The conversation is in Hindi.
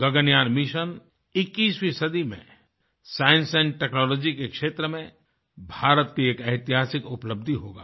गगनयान मिशन 21वीं सदी में साइंस टेक्नोलॉजी के क्षेत्र में भारत की एक ऐतिहासिक उपलब्धि होगा